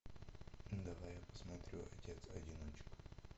давай я посмотрю отец одиночка